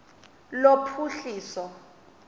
lophuhliso